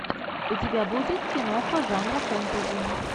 у тебя будет киноха жанра фэнтези